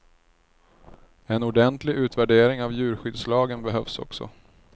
En ordentlig utvärdering av djurskyddslagen behövs också.